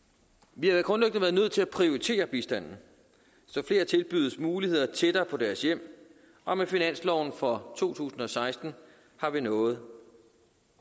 vi har grundlæggende været nødt til at prioritere bistanden så flere tilbydes muligheder tættere på deres hjem og med finansloven for to tusind og seksten har vi nået